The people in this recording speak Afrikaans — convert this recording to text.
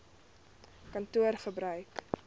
kantoor gebruik eisnr